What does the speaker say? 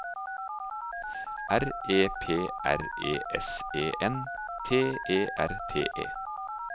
R E P R E S E N T E R T E